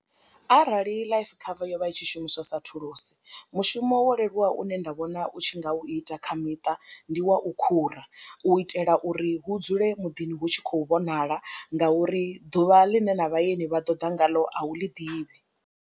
Arali life cover yo vha i tshi shumiswa sa thulusi mushumo wo leluwaho une nda vhona u tshi nga u ita kha miṱa ndi wa u khura u itela uri hu dzule muḓini hu tshi khou vhonala ngauri ḓuvha ḽine na vhaeni vha ḓo ḓa ngalo a u ḽi ḓivhi.